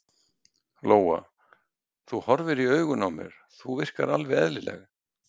Lóa: Þú horfir í augun á mér, þú virkar alveg eðlileg?